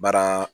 Baara